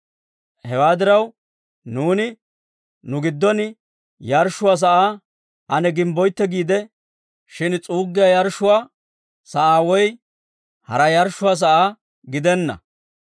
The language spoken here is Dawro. «Hewaa diraw nuuni nu giddon yarshshuwaa sa'aa ane gimbboytte geedda; shin s'uuggiyaa yarshshuwaa sa'aa woy hara yarshshuwaa sa'aa gidenna.